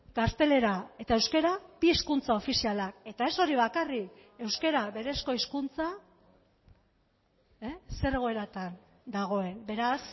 gaztelera eta euskara bi hizkuntza ofizialak eta ez hori bakarrik euskara berezko hizkuntza zer egoeratan dagoen beraz